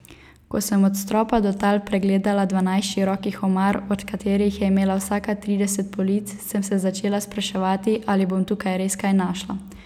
Ko sem od stropa do tal pregledala dvanajst širokih omar, od katerih je imela vsaka trideset polic, sem se začela spraševati, ali bom tukaj res kaj našla.